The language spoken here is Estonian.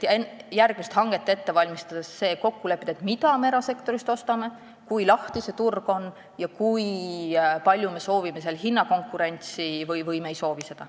Nii et järgmist hanget ette valmistades tuleb kokku leppida see, mida me erasektorist ostame, kui lahti see turg on ja kui palju me seal hinnakonkurentsi soovime või me ei soovigi seda.